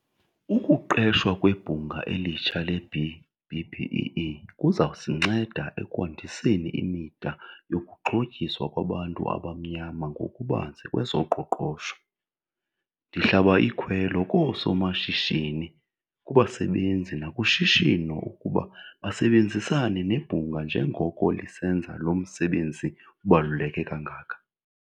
Ukuqeshwa kweBhunga elitsha le-B-BBEE kuza kusinceda ekwandiseni imida yokuxhotyiswa kwabantu abamnyama ngokubanzi kwezoqoqosho. Ndihlaba ikhwelo koosomashishini, kubasebenzi nakushishino ukuba basebenzisane nebhunga njengoko lisenza lo msebenzi ubaluleke kangaka.